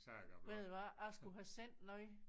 Ved du hvad jeg skulle have sendt noget